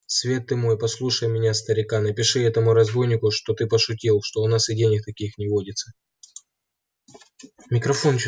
свет ты мой послушай меня старика напиши этому разбойнику что ты пошутил что у нас и денег-то таких не водится